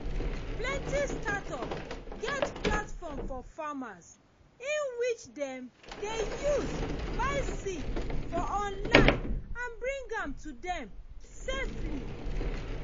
plenty startup get platform for farmers in which dem dey use buy seed for online and bring am to dem safely